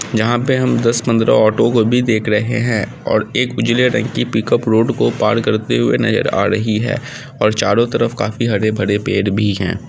जहां पे हम दस पन्द्रह ओटो को भी देख रहे हैऔर एक उजले रंग की पिकअप रोड को पार करते हुए भी नजर आ रही है और चारो तरफ काफी हरे-भरे पेड़ भी है।